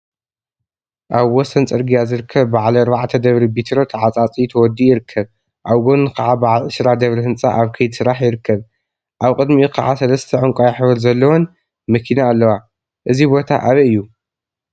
አብ ወሰን ፅርጊያ ዝርከብ በዓል 4 ደብሪ ቢትሮ ተዓፃፅዩ ተወዲኡ ይርከብ፡፡ አብ ጎኑ ከዓ በዓል 20 ደብሪ ህንፃ አብ ከይዲ ስራሕ ይርከብ፡፡ አብ ቅድሚኡ ከዓ ሰለስተ ዕንቋይ ሕብሪ ዘለዎን መኪና አለዋ፡፡ እዚ ቦታ አበይ እዩ?